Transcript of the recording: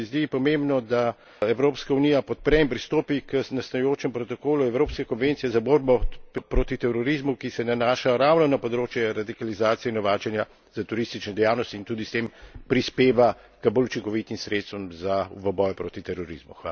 In se mi zdi pomembno, da Evropska unija podpre in pristopi k nastajajočem protokolu evropske konvencije za borbo proti terorizmu, ki se nanaša ravno na področje radikalizacije in novačenja za teroristične dejavnosti, in tudi s tem prispeva k bolj učinkovitim sredstvom v boju proti terorizmu.